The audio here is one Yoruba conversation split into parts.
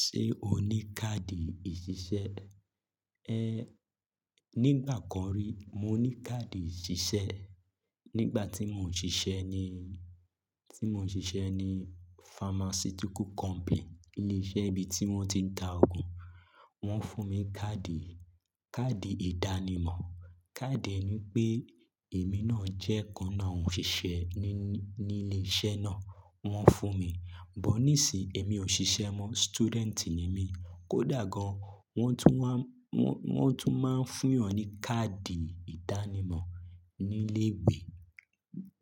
Ṣé o ní káàdì ìṣiṣẹ́? Ẹ́, nígbà kan rí mo ní káàdì ìṣiṣẹ́. Nígbà tí mò ń ṣiṣẹ́ ní, tí mò ń ṣiṣẹ́ ní pharmaceutical company, ilé-iṣẹ́ ibi tí wọ́n ti ń dá oogùn, wọ́n fún mi káàdì, káàdì ìdánimọ̀. Káàdì ẹni pé èmi náà jẹ́ kan nínú àwọn òṣìṣẹ́ ní, ní ilé-iṣẹ́ náà wọ́n fún mi. Bó nísìn èmi ò ṣisé mọ́, student ni mí. Kódà gan wọ́n tún máa ń fún yan ni káàdì ìdáni mo ni ilé ìwé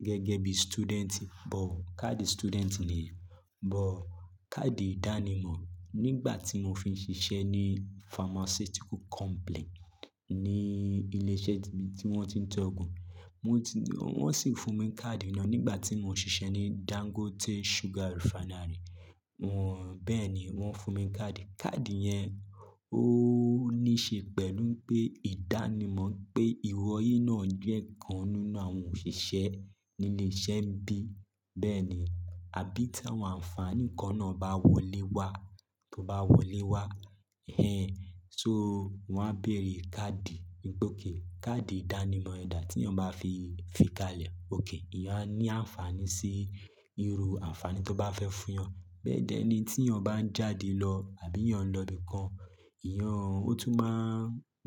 gẹ́gẹ́ bí student bó káàdì student nìyẹn. But káàdì ìdánimọ̀ nígbà tí mò fi ń ṣiṣẹ́ ní pharmaceutical company ní ilé-iṣẹ́ tí wọ́n ti ń tọ́ ògùn, wọ́n sì fún mi káàdì náà. Nígbà tí mò ń ṣiṣẹ́ ní Dangote Sugar Refinery wọ́n bẹ́ẹ̀ ni wọ́n fún mi káàdì. Káàdì yẹn ó ní ṣe pẹ̀lú pé ìdánimọ̀ pé ìwọ yíi náà jẹ́ kan nínú àwọn òṣìṣẹ́ ní ilé-iṣẹ́ bíi bẹ́ẹ̀ ni. Àbí tí àwọn àǹfààní kan ná bá wọlé wá ẹ̀hẹ̀n só wọ́n á bèrè káàdì, wípé okay káàdì ìdánimọ̀ rẹ̀ dà tí èèyàn mafi fi kalẹ̀. Ókè èèyàn á ní àǹfààní sí irú àǹfààní tó ń bá fẹ́ fún èèyàn. Bẹ́ẹ̀ dẹ́ ní tí èèyàn bá ń jáde lọ àbí èèyàn lọ ibìkan, ìyẹn ó tún máa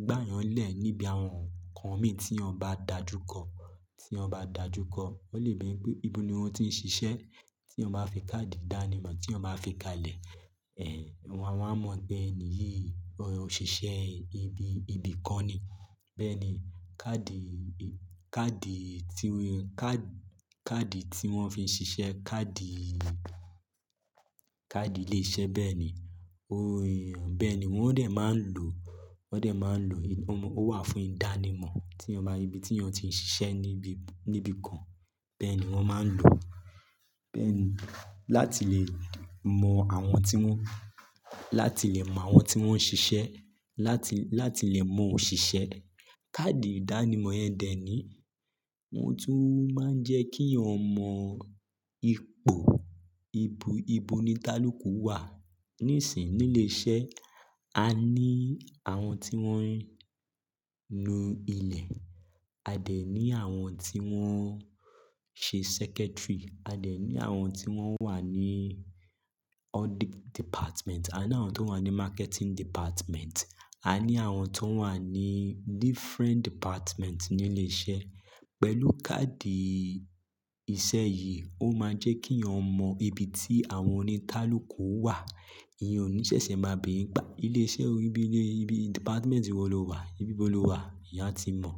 gbà èèyàn lẹ̀ níbi àwọn nkọan mì tí èèyàn bá dàjúkọ. Tí èèyàn bá dàjúkọ, wọ́n lè bi yín pé ìbò ni o ti ń ṣiṣẹ́. Tí èèyàn bá fi káàdì ìdánimọ̀ tí èèyàn bá fi kalẹ̀, ẹ̀, wọ́n á mọ̀ pé ènìyí ọ̀ṣọise ibi, ibi kan ni. Bẹ́ẹ̀ ni káàdì, káàdì tí, káàdì, káàdì tí wọ́n fi ń ṣisé, káàdì, káàdì ilé-iṣẹ́ bẹ́ẹ̀ ni. Ó yẹn, bẹ́ẹ̀ ni wọ́n dẹ̀ máa ń lò, wọ́n dẹ̀ máa ń lò. Ó wà fún ìdánimọ̀ tí èèyàn bá, ibi tí èèyàn ti ń ṣiṣẹ́ níbi, níbi kan. Bẹ́ẹ̀ ni wọ́n máa ń lò. Bẹ́ẹ̀ ni láti lè mọ àwọn tí wọ́n, láti lè mọ àwọn tí wọ́n ń ṣisé, láti, láti lè mọ òṣìṣẹ́. Káàdì ìdánimọ̀ yẹn dẹ́ẹ̀ni wọ́n tún máa ń jẹ́ kí èèyàn mọ̀ ipò, ibi, ibo ni tálòkò wà. Nísìn nílé-iṣẹ́ a ní àwọn tí wọ́n nù ilẹ̀, a dẹ̀ ní àwọn tí wọ́n ṣe secretary, a dẹ̀ ní àwọn tí wọ́n wà ní audit department, a ní àwọn tó wà ní marketing department, a ní àwọn tó wà ní different department nílé-iṣẹ́. Pẹ̀lú káàdì ìṣe yìí ó máa ń jẹ́ kí ì eẹyan mọ ibi tí àwọn oníkálòku wà. Èèyàn ò ní ṣẹ̀ṣẹ̀ máa bèèrè pé à. Ilé-iṣẹ́ orí bílé, ibi department wọ́ lọ wà, ibi bó lọ wà èèyàn á ti mọ̀.